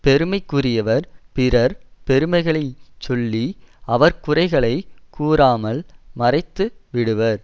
பெருமைக்குரியவர் பிறர் பெருமைகளைச் சொல்லி அவர் குறைகளை கூறாமல் மறைத்து விடுவர்